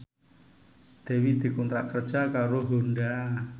Dewi dikontrak kerja karo Honda